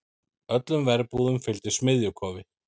Öllum verbúðum fylgdi smiðjukofi.